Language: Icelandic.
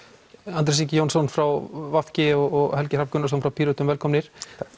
Andrés Ingi frá v g og Helgi Hrafn frá Pírötum velkomnir